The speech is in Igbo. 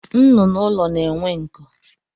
Nnụnụ ụlọ na-enwe nku